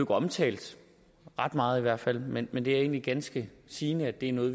omtalt ret meget i hvert fald men men det er egentlig ganske sigende at det er noget